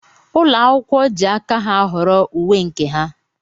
Ụlọ akwụkwọ jị aka ha ahọrọ uwe nke ha.